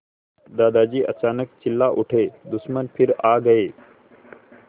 दादाजी अचानक चिल्ला उठे दुश्मन फिर आ गए